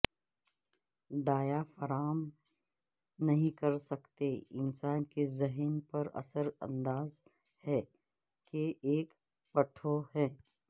diaphragm نہیں کر سکتے انسان کے ذہن پر اثر انداز ہے کہ ایک پٹھوں ہے